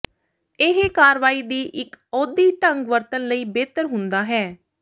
ਇਹ ਕਾਰਵਾਈ ਦੀ ਇੱਕ ਆਉਦੀ ਢੰਗ ਵਰਤਣ ਲਈ ਬਿਹਤਰ ਹੁੰਦਾ ਹੈ